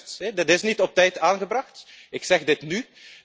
Dat is juist, dit is niet op tijd aangebracht ik zeg dit nu.